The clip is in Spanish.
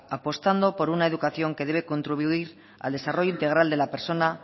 apostando por una educación que debe contribuir al desarrollo integral de la persona